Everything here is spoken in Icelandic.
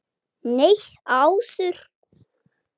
Nei, áður.